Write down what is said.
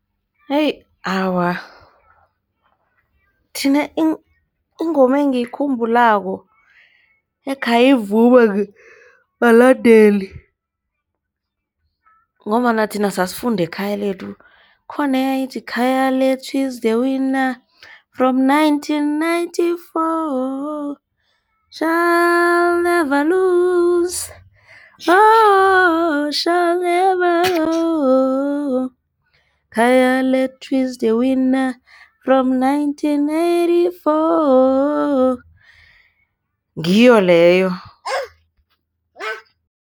awa, thina ingoma engiyikhumbulako ekhayivunywa balandeli ngombana thina sesifunda eKhayalethu khona yayethi, Khayalethu is the winner from nineteen ninety-four, shall never lose hope, shall never lose Khayalethu is the winner from nineteen ninety-four , ngiyo leyo.